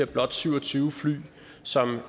blot syv og tyve fly som